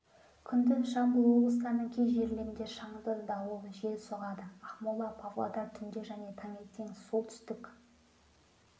күндіз жамбыл облыстарының кей жерлерінде шаңды дауыл жел соғады ақмола павлодар түнде және таңертең солтүстік